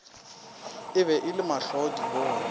e be e le mahlwaadibona